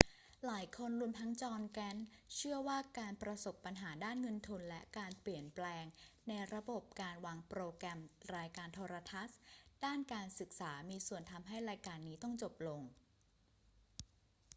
หลายคนรวมทั้งจอห์น แกรนท์เชื่อว่าทั้งการประสบปัญหาด้านเงินทุน และการเปลี่ยนแปลงในระบบการวางโปรแกรมรายการโทรทัศน์ด้านการศึกษามีส่วนทำให้รายการนี้ต้องจบลง